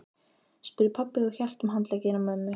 spurði pabbi og hélt um handlegginn á mömmu.